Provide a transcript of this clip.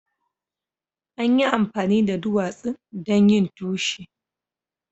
An yi amfani da duwatsun don yin tushe.